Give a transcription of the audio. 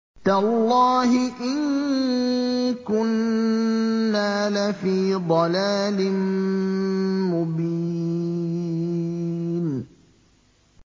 تَاللَّهِ إِن كُنَّا لَفِي ضَلَالٍ مُّبِينٍ